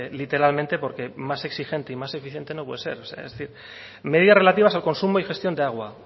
literalmente porque más exigente y más eficiente no puede ser es decir medidas relativas al consumo y gestión de agua